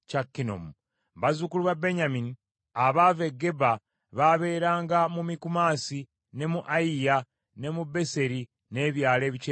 Bazzukulu ba Benyamini abaava e Geba baabeeranga mu Mikumasi, ne mu Ayiya, ne mu Beseri n’ebyalo ebikyetoolodde,